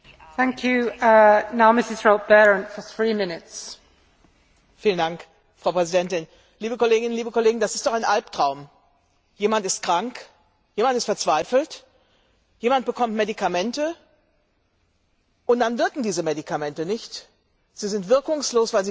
Frau Präsidentin, liebe Kolleginnen, liebe Kollegen! Das ist doch ein Alptraum Jemand ist krank, jemand ist verzweifelt, jemand bekommt Medikamente und dann wirken diese Medikamente nicht, sie sind wirkungslos, weil sie gefälscht sind. Wir sind der Kommission dankbar, dass sie mit diesem Vorschlag gekommen ist.